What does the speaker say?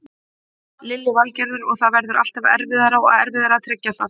Lillý Valgerður: Og það verður alltaf erfiðara og erfiðara að tryggja það?